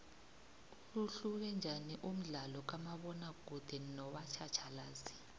uhluke njaniumdlalokamabona kude nowatjhatjhalazi